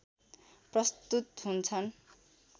प्रस्तुत हुन्छन्